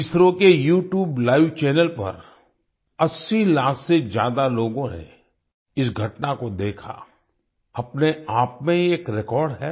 इसरो के YouTube live channel पर 80 लाख से ज्यादा लोगों ने इस घटना को देखा अपने आप में ही एक रेकॉर्ड है